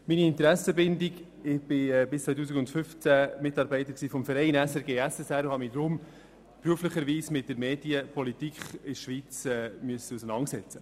Zu meiner Interessenbindung: Ich war bis 2015 Mitarbeiter beim Verein SRG SSR und musste mich deshalb beruflich mit der Medienpolitik in der Schweiz auseinandersetzen.